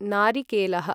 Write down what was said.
नारिकेलः